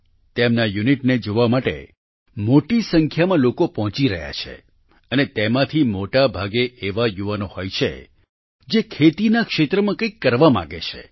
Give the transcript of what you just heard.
તેમના આ યુનિટને જોવા માટે મોટી સંખ્યામાં લોકો પહોંચી રહ્યા છે અને તેમાંથી મોટાભાગે એવા યુવાનો હોય છે જે ખેતીના ક્ષેત્રમાં કંઈક કરવા માંગે છે